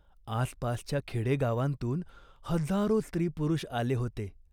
आसपासच्या खेडेगावांतून हजारो स्त्रीपुरुष आले होते.